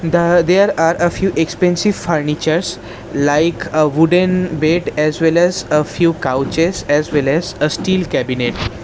The there are a few expensive furnitures like a wooden-n bed as well as a few couches as well as a steel cabinet.